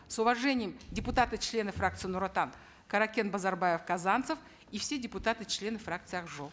с уважением депутаты члены фракции нур отан каракен базарбаев казанцев и все депутаты члены фракции ак жол